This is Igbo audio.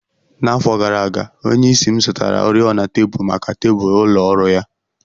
N'afọ gara aga, onyeisi m zụtara oriọna tebụl maka tebụl ụlọ ọrụ ya.